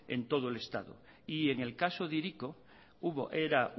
en todo el estado y en el caso de hiriko era